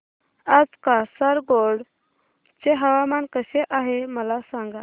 आज कासारगोड चे हवामान कसे आहे मला सांगा